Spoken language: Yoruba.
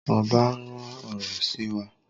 Oba rán ọrọ sí wa